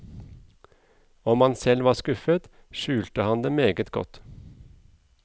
Om han selv var skuffet, skjulte han det meget godt.